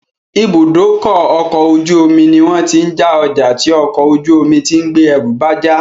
Ìbúdókọ̀ ọ̀kọ̀ ojú omi ní wọ́n tí ń já ọjà tí ọkò ojú omi tí ń gbé ẹrù bá já